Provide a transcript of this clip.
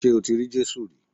Ṣé o ti rí Jésù rí